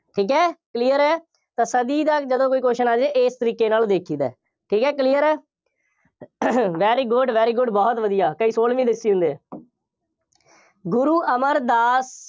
ਠੀਕ ਹੈ। clear ਹੈ। ਤਾਂ ਸਦੀ ਦਾ ਜਦੋਂ ਕੋਈ question ਆ ਜਾਏ। ਇਸ ਤਰੀਕੇ ਨਾਲ ਦੇਖੀਦਾ। ਠੀਕ ਹੈ। clear ਹੈ। very good, very good ਬਹੁਤ ਵਧੀਆ, ਕਈ ਸੋਲਵੀਂ ਦੱਸੀ ਜਾਂਦੇ ਆ, ਗੁਰੂ ਅਮਰਦਾਸ